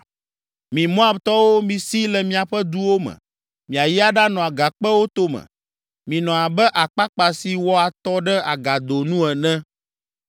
Mi Moabtɔwo, misi le miaƒe duwo me, miayi aɖanɔ agakpewo tome. Minɔ abe akpakpa si wɔ atɔ ɖe agado nu ene.”